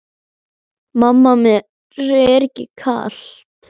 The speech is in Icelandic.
Mamma mér er kalt!